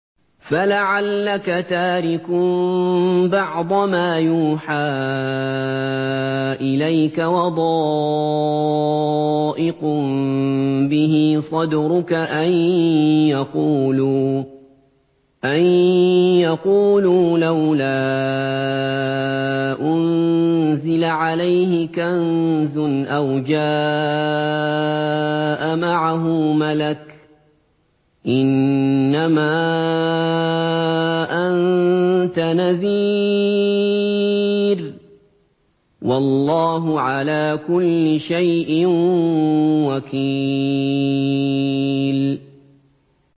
فَلَعَلَّكَ تَارِكٌ بَعْضَ مَا يُوحَىٰ إِلَيْكَ وَضَائِقٌ بِهِ صَدْرُكَ أَن يَقُولُوا لَوْلَا أُنزِلَ عَلَيْهِ كَنزٌ أَوْ جَاءَ مَعَهُ مَلَكٌ ۚ إِنَّمَا أَنتَ نَذِيرٌ ۚ وَاللَّهُ عَلَىٰ كُلِّ شَيْءٍ وَكِيلٌ